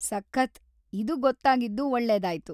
ಸಖತ್!‌ ಇದು ಗೊತ್ತಾಗಿದ್ದು ಒಳ್ಳೇದಾಯ್ತು.